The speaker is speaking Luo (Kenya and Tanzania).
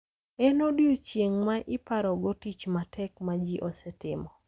En odiechieng` ma iparogo tich matek ma ji osetimo.